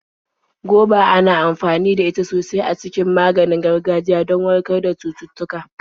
Goba ana amfani da ita sosai a cikin maganin gargajiya do warkar da cututtuka.